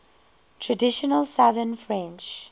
traditional southern french